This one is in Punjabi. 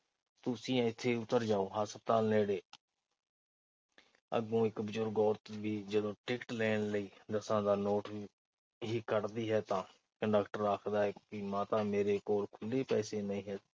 ਤੂੰ ਇਥੇ ਹੀ ਉਤਰ ਜਾਓ। ਹਸਪਤਾਲ ਨੇੜੇ। ਅੱਗੋਂ ਇੱਕ ਬਜ਼ੁਰਗ ਔਰਤ ਵੀ ਟਿਕਟ ਲੈਣ ਲਈ ਦਸਾਂ ਦਾ ਨੋਟ ਹੀ ਕੱਢਦੀ ਹੈ ਤਾਂ ਕੰਡਕਟਰ ਆਖਦਾ ਹੈ ਕਿ ਮਾਤਾ ਮੇਰੇ ਕੋਲ ਖੁੱਲ੍ਹੇ ਪੈਸੇ ਨਹੀਂ